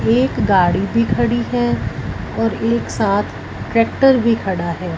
एक गाड़ी भी खड़ी है और एक साथ ट्रैक्टर भी खड़ा है।